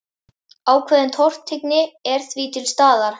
Ákveðin tortryggni er því til staðar.